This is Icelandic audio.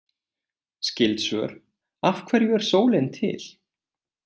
Skyld svör: Af hverju er sólin til?